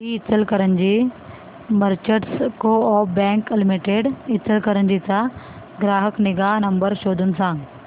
दि Ichalkaranji Merchants Coop Bank Limited Ichalkaranji चा ग्राहक निगा नंबर शोधून सांग